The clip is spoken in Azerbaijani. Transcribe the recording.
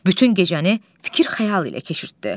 Bütün gecəni fikir-xəyal ilə keçirtdi.